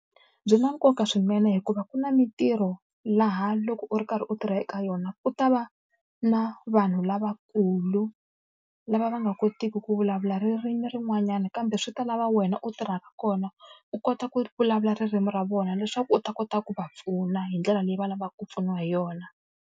Byi na nkoka swinene hikuva ku na mintirho laha loko u ri karhi u tirha eka yona, u ta va na vanhu lavakulu lava va nga kotiki ku vulavula ririmi rin'wanyana kambe swi ta lava wena u tirhaka kona, u kota ku vulavula ririmi ra vona leswaku u ta kota ku va pfuna hi ndlela leyi va lavaka ku pfuniwa hi yona.